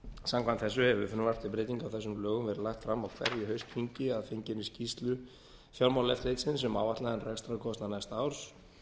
samkvæmt þessu hefur frumvarp til breytinga á þessum lögum verið lagt fram á hverju haustþingi að fenginni skýrslu fjármálaeftirlitsins um áætlaðan rekstrarkostnað næsta árs